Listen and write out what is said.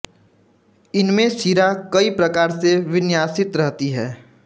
इनमें शिरा कई प्रकार से विन्यासित रहती है